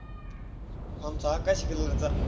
आमचा आकाशी color चा.